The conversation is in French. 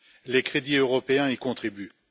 les crédits européens y contribuent.